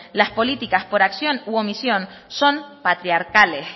las políticas por acción o por omisión son patriarcales